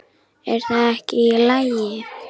Er það ekki í lagi?